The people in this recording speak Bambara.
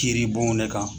Kiiri bonw ne kan